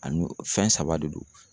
A n'o fɛn saba de don.